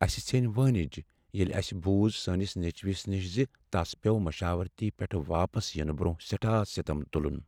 اسہ ژھیٚنۍ وٲنج ییٚلہ اسہ بُوز سٲنس نیچوس نش ز تس پیوٚو مشاورتی پیٹھٕ واپس ینہٕ برٛونٛہہ سیٹھاہ ستم تلن۔